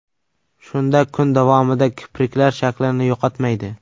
Shunda kun davomida kipriklar shaklini yo‘qotmaydi.